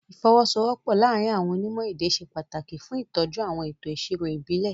Ìfọwọ́sowọ́pọ̀ láàárín àwọn onímọ̀ èdè ṣe pàtàkì fún ìtọ́jú àwọn ètò ìṣirò ìbílẹ̀.